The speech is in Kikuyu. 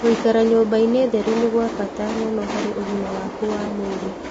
Gũĩkara nyũmba-ĩnĩ theru nĩ kwa bata mũno harĩ ũgima waku wa mwĩrĩ.